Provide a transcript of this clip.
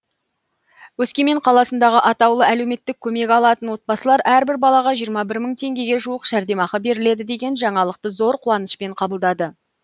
өскемен қаласындағы атаулы әлеуметтік көмек алатын отбасылар әрбір балаға жиырма бір мың теңгеге жуық жәрдемақы беріледі деген жаңалықты зор қуанышпен қабылдады